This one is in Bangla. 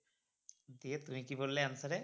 দিয়ে তুমি কী বললে answer এ?